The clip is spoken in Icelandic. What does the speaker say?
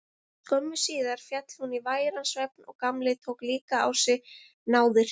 Skömmu síðar féll hún í væran svefn og Gamli tók líka á sig náðir.